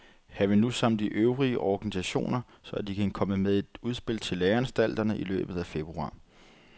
Han vil nu samle de øvrige organisationer, så de kan komme med et udspil til læreanstalterne i løbet af februar.